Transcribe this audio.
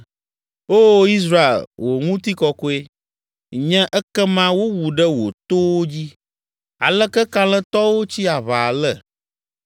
“Oo, Israel, wò ŋutikɔkɔe Nye ekema wowu ɖe wò towo dzi. Aleke kalẽtɔwo tsi aʋa ale!